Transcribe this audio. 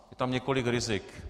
Je tam několik rizik.